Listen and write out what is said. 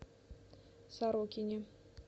сорокине